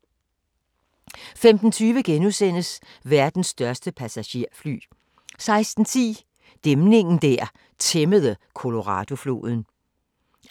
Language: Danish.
15:20: Verdens største passagerfly * 16:10: Dæmningen der tæmmede Coloradofloden